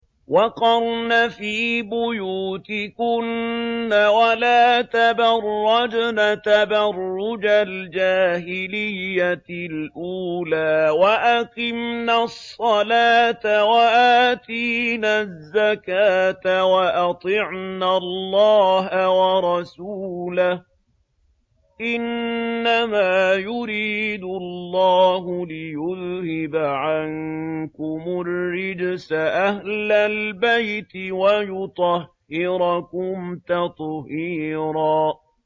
وَقَرْنَ فِي بُيُوتِكُنَّ وَلَا تَبَرَّجْنَ تَبَرُّجَ الْجَاهِلِيَّةِ الْأُولَىٰ ۖ وَأَقِمْنَ الصَّلَاةَ وَآتِينَ الزَّكَاةَ وَأَطِعْنَ اللَّهَ وَرَسُولَهُ ۚ إِنَّمَا يُرِيدُ اللَّهُ لِيُذْهِبَ عَنكُمُ الرِّجْسَ أَهْلَ الْبَيْتِ وَيُطَهِّرَكُمْ تَطْهِيرًا